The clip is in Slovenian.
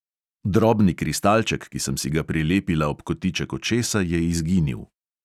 Drobni kristalček, ki sem si ga prilepila ob kotiček očesa, je izginil.